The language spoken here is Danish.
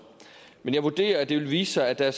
men jeg vurderer at det vil vise sig at der